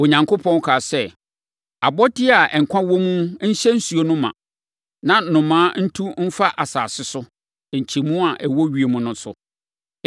Onyankopɔn kaa sɛ, “Abɔdeɛ a nkwa wɔ mu nhyɛ nsuo no ma, na nnomaa ntu mfa asase ne nkyɛmu a ɛwɔ ewiem no so.”